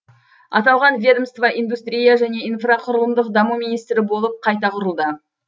аталған ведомство индустрия және инфрақұрылымдық даму министрі болып қайта құрылды